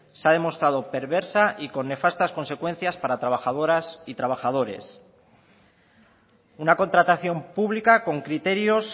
se ha demostrado perversa y con nefastas consecuencias para trabajadoras y trabajadores una contratación pública con criterios